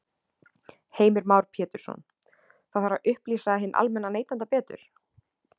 Heimir Már Pétursson: Það þarf að upplýsa hinn almenna neytanda betur?